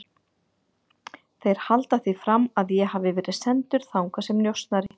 Þeir halda því fram að ég hafi verið sendur þangað sem njósnari